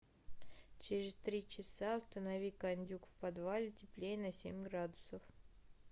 через три часа установи кондюк в подвале теплее на семь градусов